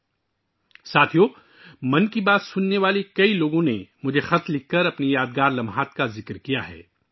دوستو، 'من کی بات' سننے والے بہت سے لوگوں نے مجھے خطوط لکھے ہیں اور اپنے یادگار لمحات شیئر کیے ہیں